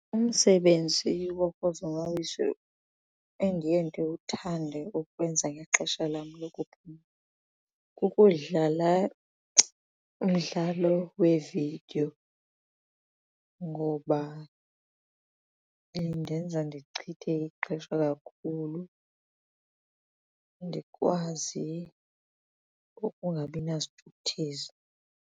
Umsebenzi wokuzonwabisa endiye ndiwuthande ukuwenza ngexesha lam lokuphumla kukudlala umdlalo wee-video ngoba indenza ndichithe ixesha kakhulu ndikwazi ukungabi nasithukuthezi.